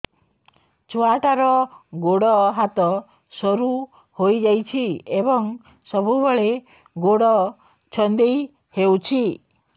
ଛୁଆଟାର ଗୋଡ଼ ହାତ ସରୁ ହୋଇଯାଇଛି ଏବଂ ସବୁବେଳେ ଗୋଡ଼ ଛଂଦେଇ ହେଉଛି